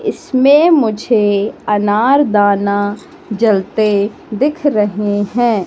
इसमें मुझे अनारदाना जलते दिख रहे हैं।